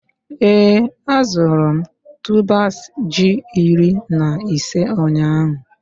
Ee, azụrụ m tubers ji iri na ise ụnyahụ?